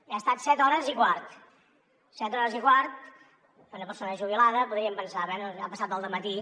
hi ha estat set hores i quart set hores i quart és una persona jubilada podríem pensar bé ha passat el dematí